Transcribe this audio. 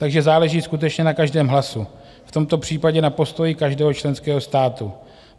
Takže záleží skutečně na každém hlasu, v tomto případě na postoji každého členského státu.